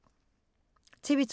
TV 2